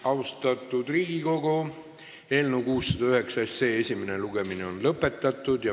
Austatud Riigikogu, eelnõu 609 esimene lugemine on lõpetatud.